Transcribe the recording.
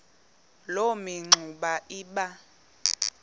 loo mingxuma iba